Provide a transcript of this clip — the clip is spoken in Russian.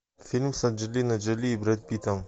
фильм с анджелиной джоли и брэд питтом